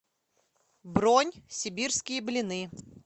бронь сибирские блины